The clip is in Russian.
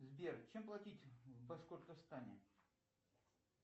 сбер чем платить в башкортостане